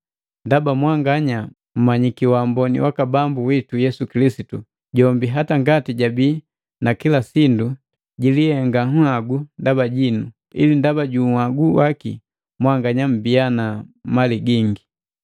Ndaba mwanganya mmanyiki wamboni waka Bambu witu Yesu Kilisitu, jombi, ingawa jabii na kila sindu, jilikopake nhagu ndaba jinu, ili ndaba ju uhagu waki mwanganya mbiya na mali gingi.